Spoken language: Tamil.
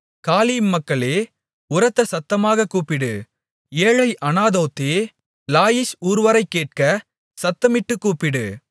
காலீம் மகளே உரத்த சத்தமாகக் கூப்பிடு ஏழை ஆனதோத்தே லாயீஷ் ஊர்வரை கேட்க சத்தமிட்டுக் கூப்பிடு